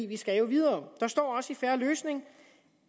vi skal jo videre der står også i en fair løsning